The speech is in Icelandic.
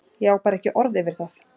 Ég á bara ekki orð yfir það.